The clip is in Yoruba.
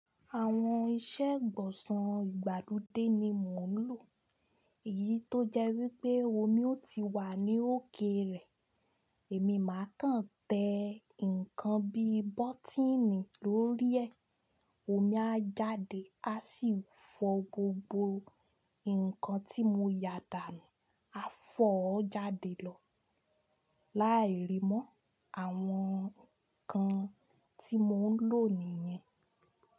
Àwọn iṣẹ́ gbọ̀sàn ìgbàlódé ni mò ń lò. Èyí tó jẹ́ wípé omi ó ti wà ní òkè rẹ̀, èmi máa kàn tẹ ǹkan bí bọ́tíìnì lórí ẹ̀, omi a jáde, a sì fọ gbogbo ǹkan tí mo yà dànù, a fọ̀ ọ́ jáde lọ. Láì rí mọ́ àwọn ǹkan tí mò ń lò nìyẹn.